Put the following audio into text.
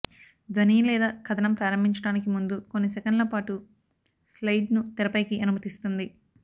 ధ్వని లేదా కథనం ప్రారంభించటానికి ముందు కొన్ని సెకన్ల పాటు స్లయిడ్ను తెరపైకి అనుమతిస్తుంది